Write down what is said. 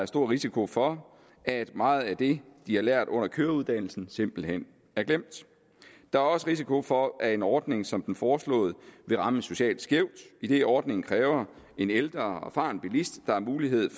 stor risiko for at meget af det de har lært under køreuddannelsen simpelt hen er glemt der er også risiko for at en ordning som den foreslåede vil ramme socialt skævt idet ordningen kræver en ældre og erfaren bilist der har mulighed